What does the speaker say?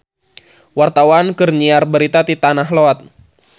Wartawan keur nyiar berita di Tanah Lot